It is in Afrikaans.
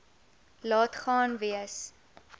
laat gaan wees